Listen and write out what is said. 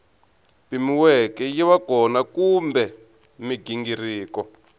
pimiweke yiva kona kumbe mighingiriko